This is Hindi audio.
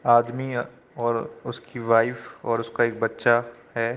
आदमी अ और उस की वाइफ और उसका एक बच्चा है।